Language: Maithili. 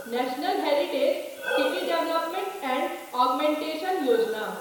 national heritage city development and augmentation Yojana